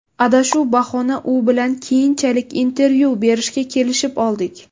Adashuv bahona u bilan keyinchalik intervyu berishiga kelishib oldik.